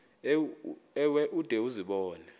ewe ude uzibone